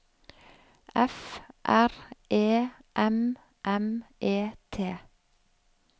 F R E M M E T